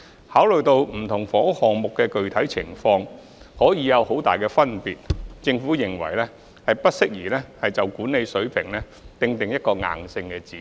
考慮到不同房屋項目的具體情況可以有很大差距，政府認為不宜就管理費水平訂定一個硬性指標。